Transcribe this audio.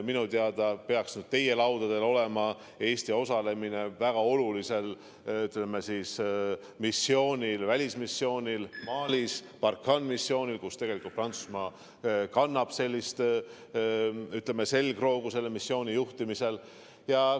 Minu teada peaks nüüd teie laudadel olema Eesti osalemine väga olulisel välismissioonil Malis, missioonil Barkhane, kus tegelikult Prantsusmaa, ütleme, kannab selle missiooni juhtimisel selgroogu.